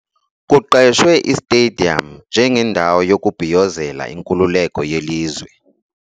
Kuqeshwe istediyamu njengendawo yokubhiyozela inkululeko yelizwe.